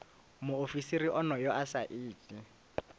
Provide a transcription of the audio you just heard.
muofisiri onoyo a sa iti